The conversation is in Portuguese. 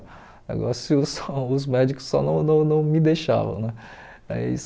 O negócio só os médicos só não não não me deixavam né mas.